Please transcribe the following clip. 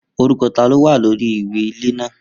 Orúkọ tá ni ó wà lórí ìwé ilẹ̀ ilé náà?